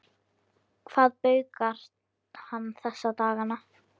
Hvað baukar hann þessa dagana?